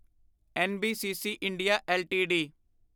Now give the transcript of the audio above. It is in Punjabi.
NBCC India LTD